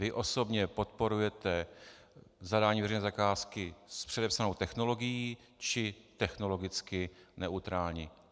Vy osobně podporujete zadání veřejné zakázky s předepsanou technologií, či technologicky neutrální?